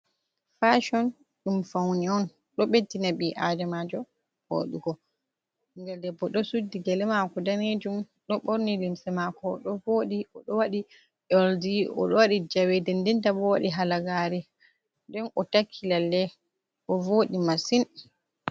Fashon ɗum paune on, ɗo ɓeddina bii adamaajo wooɗugo. Ɓingel debbo ɗo suddi gele maako daneejum, ɗo ɓorni limse maako oɗo woɗi. Oɗo waɗi oldi, oɗo waɗi jawe, nden ndenta bo, o waɗi halagaare. Nden o takki lalle, bo woɗi masin